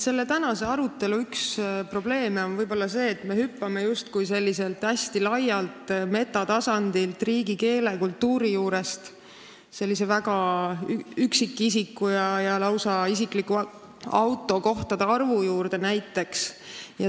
Selle tänase arutelu üks probleeme on see, et me hüppame justkui hästi laialt metatasandilt, riigi keele ja kultuuri juurest üksikisiku tasandile, lausa isikliku autokohtade arvu juurde näiteks.